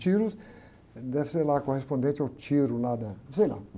deve ser lá correspondente ao tiro lá da... Sei lá.